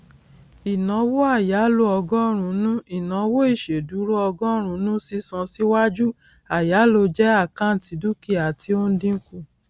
ìnáwó àyálò ọgọrùnún ìnáwó ìṣèdúró ọgọrùnùn sísan síwájú àyáló jẹ àkáǹtì dúkìá tí ó ń dínkù